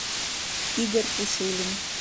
игорь пушилин